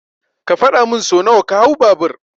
Ka faɗa min so nawa ka hau babur.